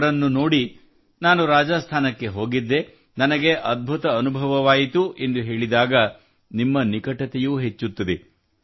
ಅವರನ್ನು ನೋಡಿ ನಾನು ರಾಜಸ್ಥಾನಕ್ಕೆ ಹೋಗಿದ್ದೆ ನನಗೆ ಅದ್ಭುತ ಅನುಭವವಾಯಿತು ಎಂದು ಹೇಳಿದಾಗ ನಿಮ್ಮ ನಿಕಟತೆಯೂ ಹೆಚ್ಚುತ್ತದೆ